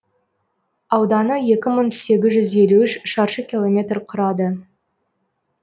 ауданы екі мың сегіз жүз елу үш шаршы километр құрады